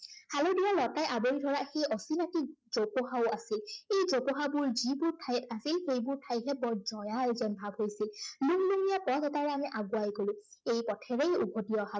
হালধীয়া লতাই আৱৰি ধৰা সেই অচিনাকি জোপোহাও আছিল। এই জোপোহাবোৰ যিবোৰ ঠাইত আছিল, সেইবোৰ ঠাইহে বৰ জয়াল যেন ভাৱ হৈছিল। লুংলুঙীয়া পথ এটাৰে আমি আগুৱাাই গলো। এই পথেৰেই উভটি অহা